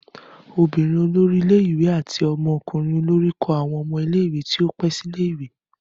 Ọmọbinrin olori ile-iwe ati ọmọkunrin olori kọ awọn ọmọ ile-iwe ti o pẹ si ile-iwe.